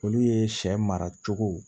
Olu ye sɛ mara cogo